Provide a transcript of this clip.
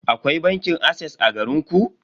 Akwai bankin ases a garinku?